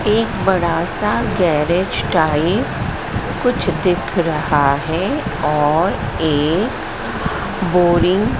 एक बड़ा सा गैरेज टाइप कुछ दिख रहा है और एक बोरिंग --